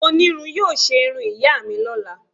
Onirun yóò se irún iya mi lọla.